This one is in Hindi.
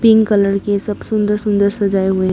पिंक कलर के सब सुंदर सुंदर सजाए हुए--